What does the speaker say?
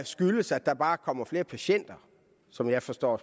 skyldes at der bare kommer flere patienter sådan forstår